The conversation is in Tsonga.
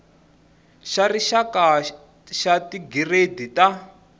xa rixaka xa tigiredi ta